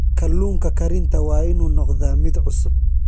Kalluunka karinta waa inuu noqdaa mid cusub.